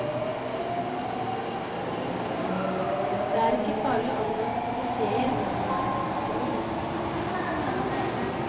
Det er ikke farlig å omgås klisjéer når man er et geni.